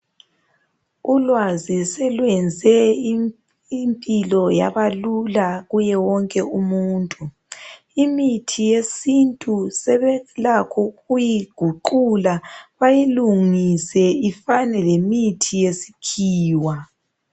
Ulwazi soluyenze imphilo yabalula kuye wonke umuntu. Imithi yesintu sevelakho ukuyiguqula bayilungise ifane lemithi yesikhiwa.